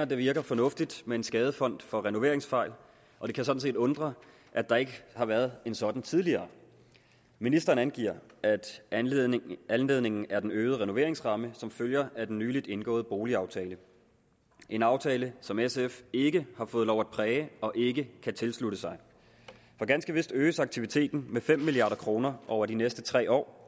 at det virker fornuftigt med en skadefond for renoveringsfejl og det kan sådan set undre at der ikke har været en sådan tidligere ministeren angiver at anledningen anledningen er den øgede renoveringsramme som følger af den nylig indgåede boligaftale en aftale som sf ikke har fået lov at præge og ikke kan tilslutte sig for ganske vist øges aktiviteten med fem milliard kroner over de næste tre år